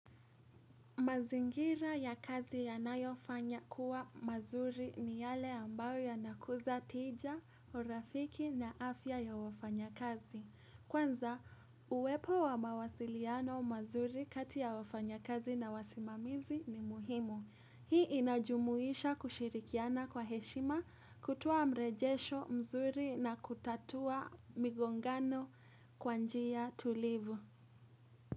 Mazingira ya kazi yanayofanya kuwa mazuri ni yale ambayo yanakuza tija, urafiki na afya ya wafanya kazi. Kwanza, uwepo wa mawasiliano mazuri kati ya wafanyakazi na wasimamizi ni muhimu. Hii inajumuisha kushirikiana kwa heshima, kutuoa mrejesho mzuri na kutatua migongano kwa njia tulivu.